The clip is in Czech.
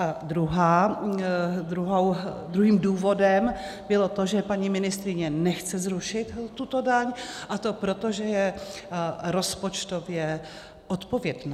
A druhým důvodem bylo to, že paní ministryně nechce zrušit tuto daň, a to proto, že je rozpočtově odpovědná.